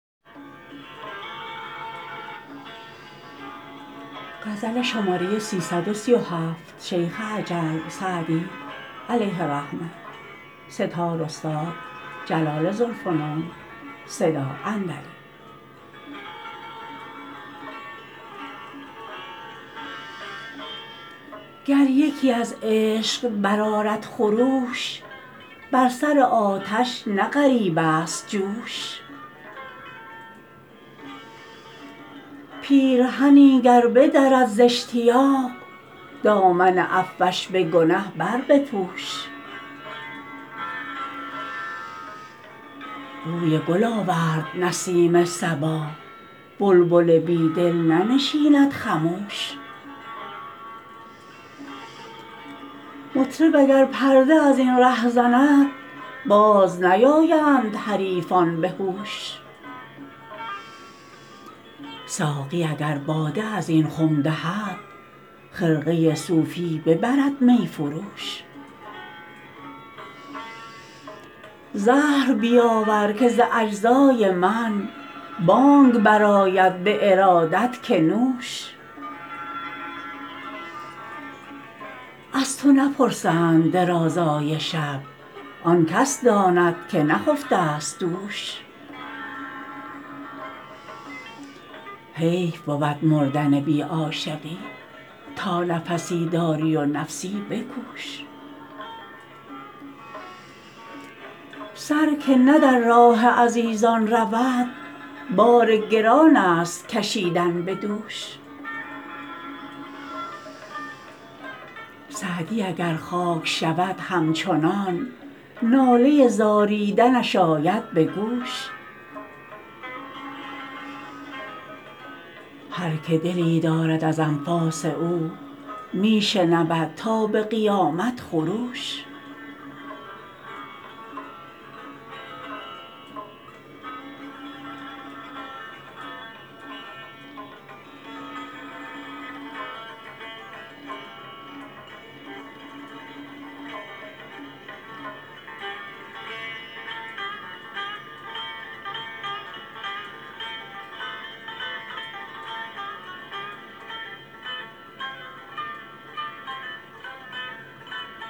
گر یکی از عشق برآرد خروش بر سر آتش نه غریب است جوش پیرهنی گر بدرد زاشتیاق دامن عفوش به گنه بربپوش بوی گل آورد نسیم صبا بلبل بی دل ننشیند خموش مطرب اگر پرده از این ره زند باز نیایند حریفان به هوش ساقی اگر باده از این خم دهد خرقه صوفی ببرد می فروش زهر بیاور که ز اجزای من بانگ برآید به ارادت که نوش از تو نپرسند درازای شب آن کس داند که نخفته ست دوش حیف بود مردن بی عاشقی تا نفسی داری و نفسی بکوش سر که نه در راه عزیزان رود بار گران است کشیدن به دوش سعدی اگر خاک شود همچنان ناله زاریدنش آید به گوش هر که دلی دارد از انفاس او می شنود تا به قیامت خروش